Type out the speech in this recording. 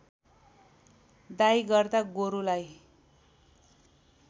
दाइँ गर्दा गोरुलाई